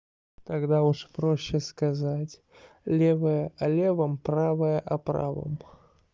тогда уж проще сказать левая о левом правая о правом